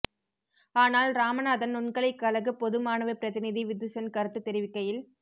ஆனால் இராமநாதன் நுண்கலை கழக பொது மாணவப் பிரதிநிதி விதுசன் கருத்து தெரிவிக்கையில்